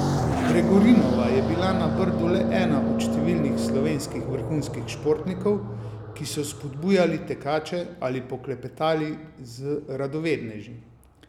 Gregorinova je bila na Brdu le ena od številnih slovenskih vrhunskih športnikov, ki so spodbujali tekače ali poklepetali z radovedneži.